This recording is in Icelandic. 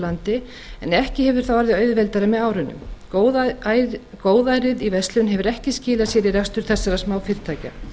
landi en ekki hefur það orðið auðveldara með árunum góðærið í verslun hefur ekki skilað sér í rekstri þessara smáfyrirtækja